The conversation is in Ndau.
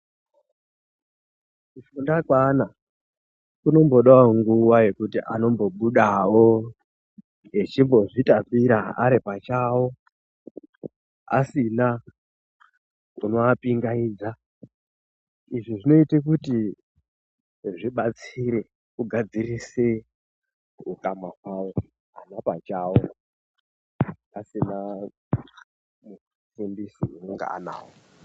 Kufunda kweana kunombodao nguwa yekuti anombobudawo echimbozvitambira aripachawo asina unoapingaidza izvi zvinoite kuti zvibatsire kugadzirise ukama hwawo ana pachawo asina mufundisi unonga anawo.